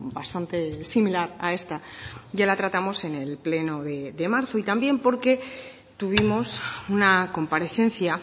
bastante similar a esta ya la tratamos en el pleno de marzo y también porque tuvimos una comparecencia